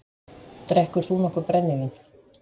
Drekkur þú nokkuð brennivín?